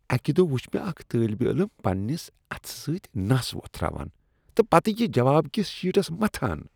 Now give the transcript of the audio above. اکہ دۄہ وٗچھ مے٘ اكھ طٲلب علم پننس اتھٕ سۭتۍ نس وۄتھراوان تہٕ پتہٕ یہِ جواب کس شیٹس متھان ۔